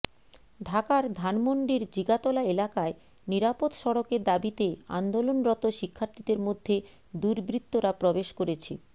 ঢাকার ধানমণ্ডির জিগাতলা এলাকায় নিরাপদ সড়কের দাবিতে আন্দোলনরত শিক্ষার্থীদের মধ্যে দুর্বৃত্তরা প্রবেশ করেছে